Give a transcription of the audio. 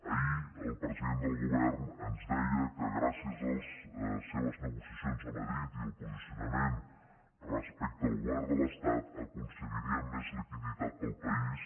ahir el president del govern ens deia que gràcies a les seves negociacions a madrid i al posicionament respecte al govern de l’estat aconseguiria més liquiditat per al país